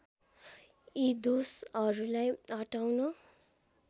यी दोषहरूलाई हटाउन